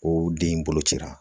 O den in bolo cira